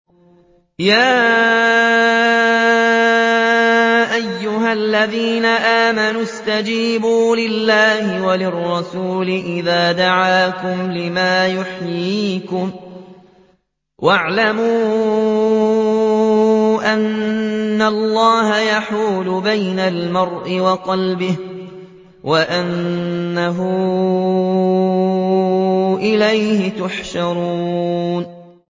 يَا أَيُّهَا الَّذِينَ آمَنُوا اسْتَجِيبُوا لِلَّهِ وَلِلرَّسُولِ إِذَا دَعَاكُمْ لِمَا يُحْيِيكُمْ ۖ وَاعْلَمُوا أَنَّ اللَّهَ يَحُولُ بَيْنَ الْمَرْءِ وَقَلْبِهِ وَأَنَّهُ إِلَيْهِ تُحْشَرُونَ